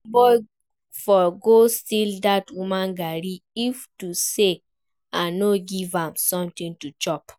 Dat boy for go steal dat woman garri if to say I no give am something to chop